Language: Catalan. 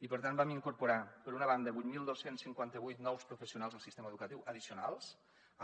i per tant vam incorporar per una banda vuit mil dos cents i cinquanta vuit nous professionals al sistema educatiu addicionals